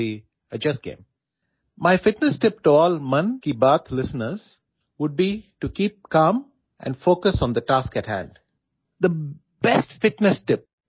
মন কি বাতৰ সকলো শ্ৰোতালৈ মোৰ ফিটনেছ টিপছ হল শান্ত হৈ থকা আৰু হাতত থকা কামটোত শান্তভাৱে মনোনিৱেশ কৰা